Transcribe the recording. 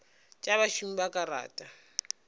tša bašomi ba ka rata